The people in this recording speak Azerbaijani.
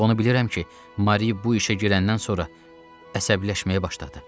ancaq onu bilirəm ki, Mari bu işə girəndən sonra əsəbləşməyə başladı.